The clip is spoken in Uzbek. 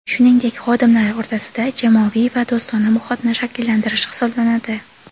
shuningdek xodimlar o‘rtasida jamoaviy va do‘stona muhitni shakllantirish hisoblanadi.